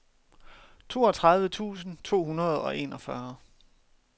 toogtredive tusind to hundrede og enogfyrre